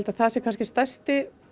það er stærsti